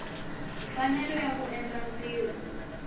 mfanelo ya ku endla ntirho